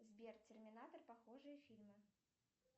сбер терминатор похожие фильмы